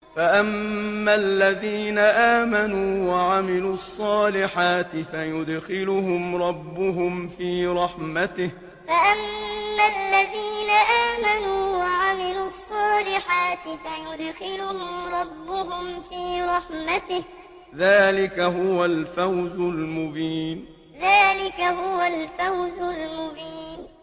فَأَمَّا الَّذِينَ آمَنُوا وَعَمِلُوا الصَّالِحَاتِ فَيُدْخِلُهُمْ رَبُّهُمْ فِي رَحْمَتِهِ ۚ ذَٰلِكَ هُوَ الْفَوْزُ الْمُبِينُ فَأَمَّا الَّذِينَ آمَنُوا وَعَمِلُوا الصَّالِحَاتِ فَيُدْخِلُهُمْ رَبُّهُمْ فِي رَحْمَتِهِ ۚ ذَٰلِكَ هُوَ الْفَوْزُ الْمُبِينُ